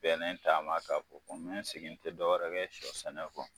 Bɛnnen taama k'a bon ko n be n sigi n te dɔ wɛrɛ kɛ sɔ sɛnɛ kɔ